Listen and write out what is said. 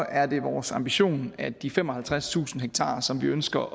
er det vores ambition at de femoghalvtredstusind ha som vi ønsker